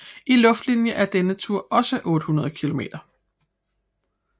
I luftlinje er denne tur også 800 km